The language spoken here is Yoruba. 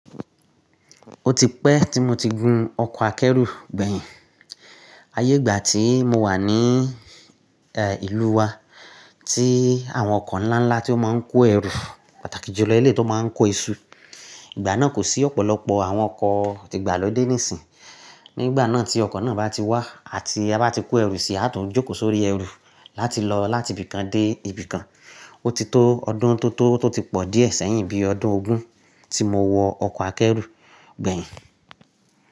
Ó ti pẹ́ tí mo ti gun ọkọ̀ akẹ́rù gbẹ̀yìn. Ayé ìgbà tí mo wà ní́ ìlú wa tí àwọn ọkọ̀ ńlá ńlá tí ó máa ń kó ẹrù pàtàkì jùlọ ilé tó máa ń kó iṣu. Ìgbà náà kò sí ọ̀pọ̀lọpọ̀ àwọn ọkọ̀ ti ìgbàlódé nísìnyí. Nígbà náà tí ọkọ̀ náà bá ti wá àti a bá ti kó ẹrù sí i, a tún jókòó sórí ẹrù láti lọ láti ibì kan dé ibì kan. Ó ti tó ọdún tó tó tó ti pọ̀ díẹ̀ sẹ́yìn bí ọdún ogún tí mo wọ ọkọ̀ akẹ́rù gbẹ̀yìn.